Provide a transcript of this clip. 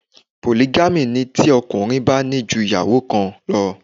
Polygamy' ni tí ọkùnrin bá ní ju ìyàwó kan lọ